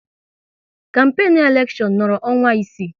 Kampenu elekshon nọrọ ọnwa isii